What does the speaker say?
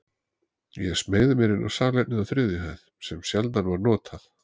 Ég smeygði mér inn á salernið á þriðju hæð, sem sjaldan var notað.